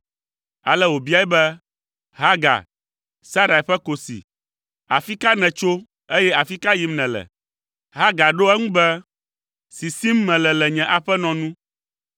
Ale wòbiae be, “Hagar, Sarai ƒe kosi, afi ka nètso, eye afi ka yim nèle?” Hagar ɖo eŋu be, “Sisim mele le nye aƒenɔ nu.”